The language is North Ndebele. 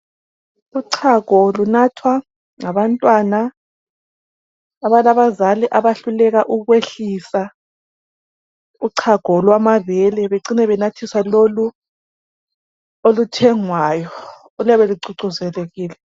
uchago lunathwa ngabantwana abalabazali abehluleka ukwehlisa uchago lwamabele becine benathiswa lolu oluthengwayo oluyabe lucucuzelekile